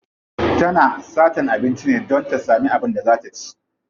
Tana satan abinci ne don ta samu abin da za ta ci.